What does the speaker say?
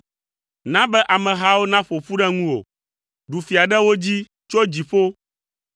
Na be amehawo naƒo ƒu ɖe ŋuwò. Ɖu fia ɖe wo dzi tso dziƒo;